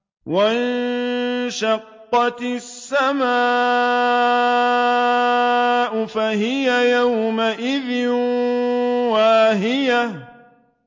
وَانشَقَّتِ السَّمَاءُ فَهِيَ يَوْمَئِذٍ وَاهِيَةٌ